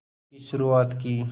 की शुरुआत की